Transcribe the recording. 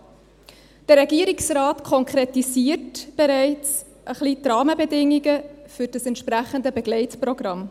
Der Regierungsrat konkretisiert bereits ein bisschen die Rahmenbedingungen für das entsprechende Begleitprogramm.